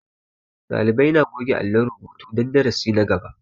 Ɗalibai na goge alon rubutu don darasi na gaba